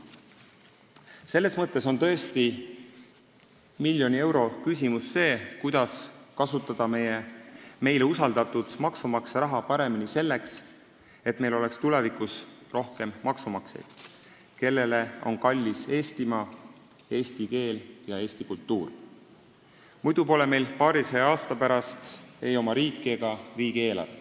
Selles mõttes on tõesti miljoni euro küsimus see, kuidas kasutada meile usaldatud maksumaksja raha paremini selleks, et meil oleks tulevikus rohkem maksumaksjaid, kellele on kallis Eestimaa, eesti keel ja eesti kultuur, muidu ei ole meil paarisaja aasta pärast ei oma riiki ega riigieelarvet.